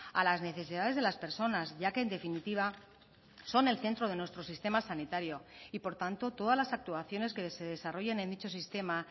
a las necesidades de las personas ya que en definitiva son el centro de nuestro sistema sanitario y por tanto todas las actuaciones que se desarrollen en dicho sistema